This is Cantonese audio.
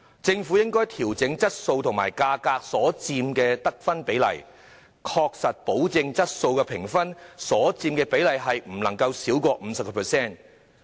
政府應該調整質素和價格所佔的得分比例，確保質素評分所佔比例不能少於 50%。